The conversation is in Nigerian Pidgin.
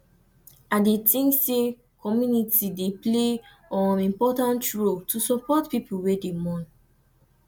i dey think say community dey play um important role to support people wey dey mourn